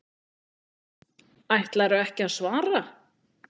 Ætlarðu ekki að svara?